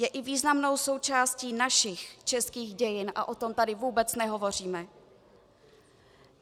Je i významnou součástí našich českých dějin a o tom tady vůbec nehovoříme.